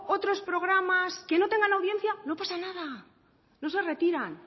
otros programas que no tengan audiencia no pasa nada no se retiran